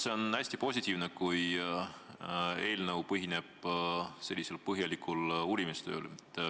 See on hästi positiivne, kui eelnõu põhineb nii põhjalikul uurimistööl.